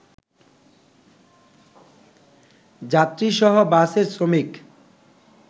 যাত্রীসহ বাসের শ্রমিক